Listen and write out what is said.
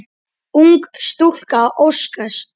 Ung stúlka óskast.